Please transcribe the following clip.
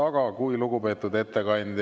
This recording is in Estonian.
Aga kui lugupeetud ettekandja …